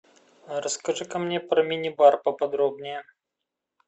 расскажи ка мне про мини бар поподробнее